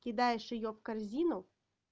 кидаешь её в корзину